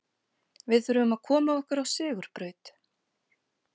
Við þurfum að koma okkur á sigurbraut.